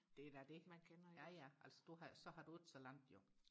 det er da det ja ja altså du har så har du ikke så langt jo